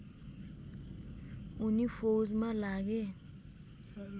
उनी फौजमा लागे